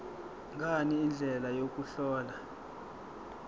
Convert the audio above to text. ngani indlela yokuhlola